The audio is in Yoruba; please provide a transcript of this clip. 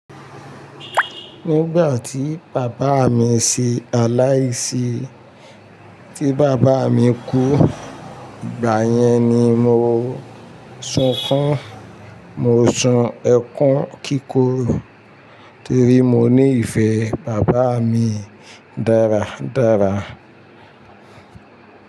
Nígbà tí bàbá mi ṣe aláìsí, tí bàbá mi kú, ìgbà yẹn ni mo sunkún, mo sun ẹkún kíkún torí mo ní ìfẹ́ bàbá mi dáradára.